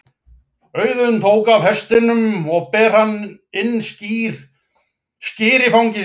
Auðunn tók af hestinum og ber inn skyr í fangi sér.